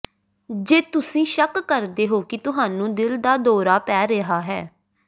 ਜੇ ਤੁਸੀਂ ਸ਼ੱਕ ਕਰਦੇ ਹੋ ਕਿ ਤੁਹਾਨੂੰ ਦਿਲ ਦਾ ਦੌਰਾ ਪੈ ਰਿਹਾ ਹੈ